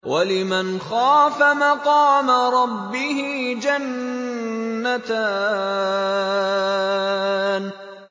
وَلِمَنْ خَافَ مَقَامَ رَبِّهِ جَنَّتَانِ